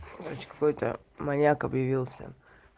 значит какой-то маньяк объявился